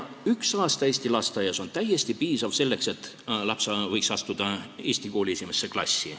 Üks aasta eesti lasteaias on täiesti piisav selleks, et laps võiks astuda eesti kooli esimesse klassi.